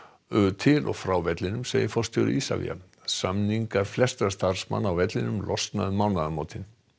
til og frá vellinum þetta segir forstjóri Isavia samningar flestra starfsmanna á vellinum losna um mánaðarmótin